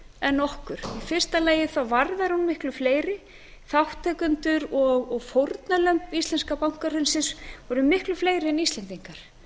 en okkur í fyrsta lagi varðar hún miklu fleiri þátttakendur og fórnarlömb íslenska bankahrunsins voru miklu fleiri en íslendingar